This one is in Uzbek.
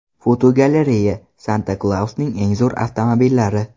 Fotogalereya: Santa Klausning eng zo‘r avtomobillari.